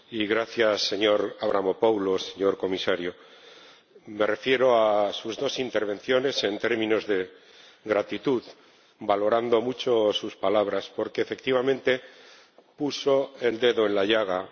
gracias, señor Avramopoulos, señor Comisario, me refiero a sus dos intervenciones en términos de gratitud, valorando mucho sus palabras porque, efectivamente, puso el dedo en la llaga.